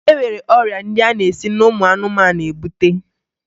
E nwere ọrịa ndị a na-esi n'ụmụ anụmanụ ebute